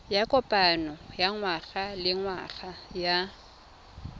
ya kopano ya ngwagalengwaga ya